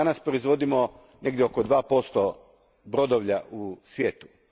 Danas proizvodimo negdje oko 2 brodovlja u svijetu.